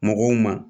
Mɔgɔw ma